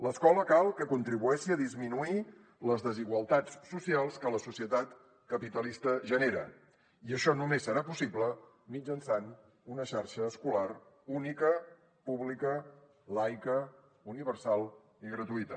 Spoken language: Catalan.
l’escola cal que contribueixi a disminuir les desigualtats socials que la societat capitalista genera i això només serà possible mitjançant una xarxa escolar única pública laica universal i gratuïta